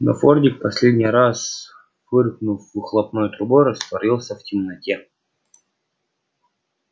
но фордик последний раз фыркнув выхлопной трубой растворился в темноте